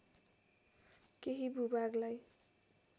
केही भूभागलाई